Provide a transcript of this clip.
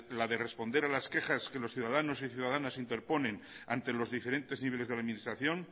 la de responder a las quejas que los ciudadanos y las ciudadanas interponen ante los diferentes niveles de la administración